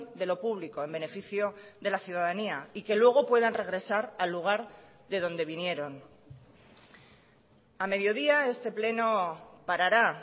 de lo público en beneficio de la ciudadanía y que luego puedan regresar al lugar de donde vinieron a mediodía este pleno parará